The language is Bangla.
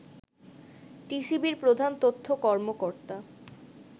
টিসিবির প্রধান তথ্য কর্মকর্তা